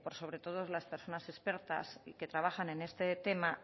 sobre todo por las personas expertas que trabajan en este tema